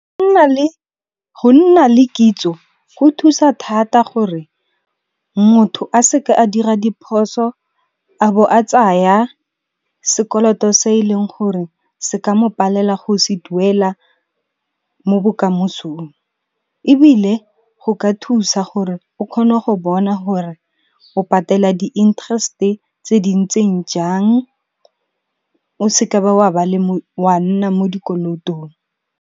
Go nna le kitso go thusa thata gore motho a se ke a dira diphoso a bo a tsaya sekoloto se e leng gore se ka mo palela go se duela mo bokamosong. Ebile go ka thusa gore o kgone go bona hore o patela di-interest-e tse di ntseng jang o se ke wa nna mo dikolotong.